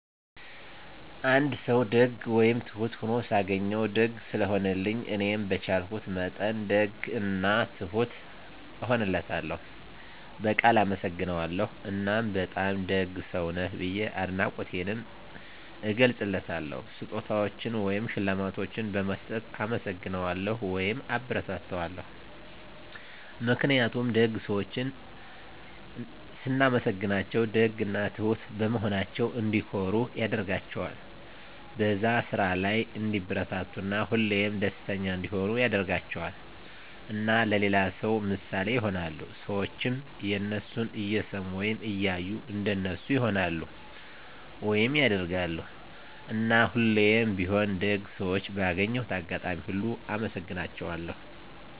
አንድ ሰዉ ደግ ወይም ትሁት ሁኖ ሳገኘዉ፤ ደግ ስለሆነልኝ እኔም በቻልኩት መጠን ደግ እና ትሁት እሆንለታለሁ፣ በቃል አመሰግነዋለሁ እና በጣም ደግ ሰዉ ነህ ብዬ አድናቆቴንም እገልፅለታለሁ። ስጦታዎችን ወይም ሽልማቶችን በመስጠት እናመሰግነዋለሁ (አበረታታዋለሁ) ። ምክንያቱም ደግ ሰዎችን ስናመሰግናቸዉ ደግ እና ትሁት በመሆናቸዉ እንዲኮሩ ያደርጋቸዋል፣ በዛ ስራ ላይ እንዲበረታቱ እና ሁሌም ደስተኛ እንዲሆኑ ያደርጋቸዋል። እና ለሌላ ሰዉ ምሳሌ ይሆናሉ። ሰዎችም የነሱን እየሰሙ ወይም እያዩ እንደነሱ ይሆናሉ (ያደርጋሉ)። እና ሁሌም ቢሆን ደግ ሰዎችን ባገኘሁት አጋጣሚ ሁሉ አመሰግናቸዋለሁ።